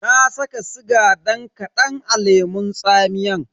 Na saka sigan dan kadan a lemun tsamiyan.